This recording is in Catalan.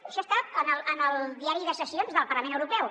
això està en el diari de sessions del parlament europeu